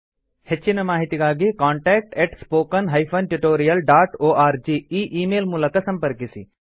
ಹೆಚ್ಚಿನ ಮಾಹಿತಿಗಾಗಿ contact spoken tutorialorg ಈ ಈ ಮೇಲ್ ಮೂಲಕ ಸಂಪರ್ಕಿಸಿ